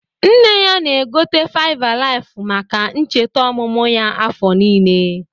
Nne ya na-egote faiv alaiv maka ncheta omụmụ ya. afọ niile